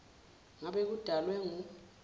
ngabe kudalwe ngu